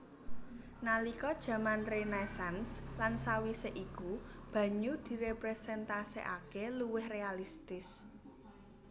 Nalika jaman Renaisans lan sawisé iku banyu diréprésentasikaké luwih réalistis